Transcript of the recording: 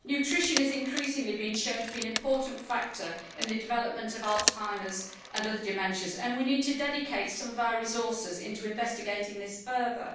Nutrition is increasingly being shown to be an important factor in the development of Alzheimer's and other dementias and we need to dedicate some of our resources into investigating this further.